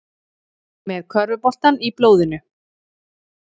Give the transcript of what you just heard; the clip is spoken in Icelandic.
Með körfuboltann í blóðinu